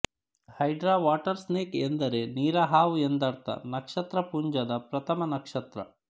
hydra water snake ಅಂದರೆ ನೀರಹಾವು ಎಂದರ್ಥ ನಕ್ಷತ್ರ ಪುಂಜದ ಪ್ರಥಮ ನಕ್ಷತ್ರ